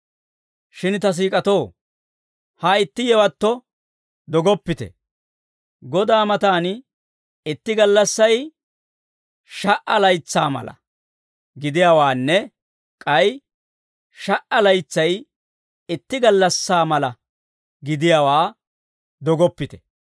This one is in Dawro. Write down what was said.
Shin ta siik'atoo, ha itti yewatto dogoppite; Godaa matan, itti gallassay sha"a laytsaa mala gidiyaawaanne, k'ay sha"a laytsay itti gallassaa mala gidiyaawaa dogoppite.